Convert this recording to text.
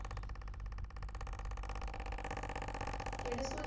ਕਿਹੜੇ ਸਕੂਲ ਚ?